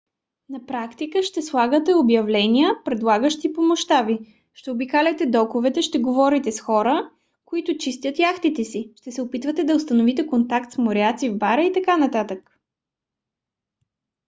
на практика ще слагате обявления предлагащи помощта ви ще обикаляте доковете ще говорите с хора които чистят яхтите си ще се опитвате да установите контакт с моряци в бара и т.н